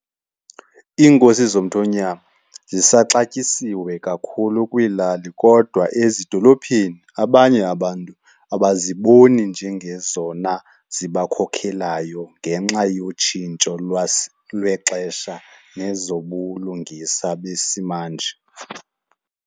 Iinkosi zomthonyama zisaxatywasiwe kakhulu kwiilali kodwa ezidolophini abanye abantu abaziboni njengezona zibakhokhelayo ngenxa yotshintsho lwexesha nezobulungisa besimanje.